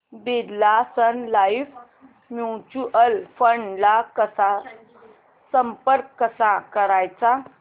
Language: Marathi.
Birla Sun Life mutual fund ला संपर्क कसा करायचा